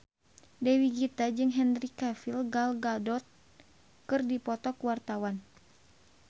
Dewi Gita jeung Henry Cavill Gal Gadot keur dipoto ku wartawan